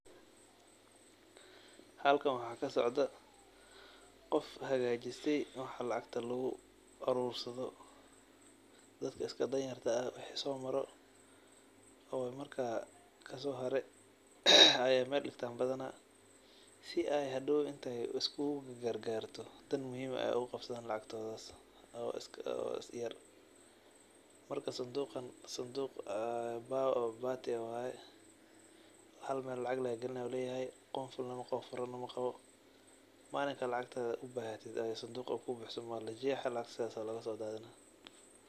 Halkan waxa kasocdo qof hagajiste meel lacagta luguro oo dadka danyarta ah lacagta somarto oo marka ayey meel digtan sii ey hadow ogugargarto dan muhhim eh ey oguqabsan lacagtan marka sanduqan wa sanduq an furo qawin marka malinka ubahato lacagta walajexa lacagta lagasodadinii.